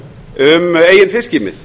um eigin fiskimið